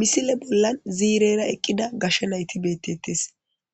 Misile bolla ziirera eqqida gashe nayti beetettees